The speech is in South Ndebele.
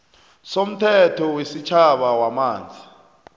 somthetho wesitjhaba wamanzi